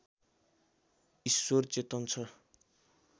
ईश्वर चेतन छ